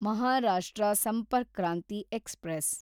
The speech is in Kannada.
ಮಹಾರಾಷ್ಟ್ರ ಸಂಪರ್ಕ್ ಕ್ರಾಂತಿ ಎಕ್ಸ್‌ಪ್ರೆಸ್